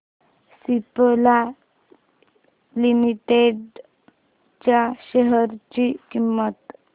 Cipla limited च्या share ची किंमत